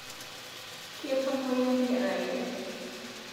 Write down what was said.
Ketomoyia nkeraiyiai